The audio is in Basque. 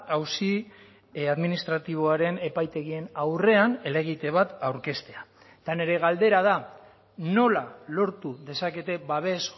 auzi administratiboaren epaitegien aurrean helegite bat aurkeztea eta nire galdera da nola lortu dezakete babes